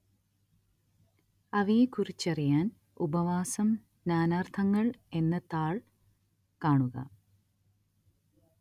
അവയെക്കുറിച്ചറിയാന്‍ ഉപവാസം നാനാര്‍ത്ഥങ്ങള്‍ എന്ന താള്‍ കാണുക